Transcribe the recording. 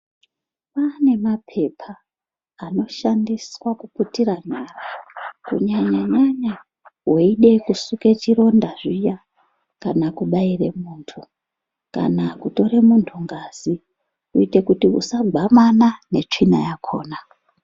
Kune maphepa anoshandiswa kuputira nyara kunyanya-nyanya veida kusuke chironda zviya kana kubaire muntu ngazi kuite kuti usagwamana netsvina yakhona.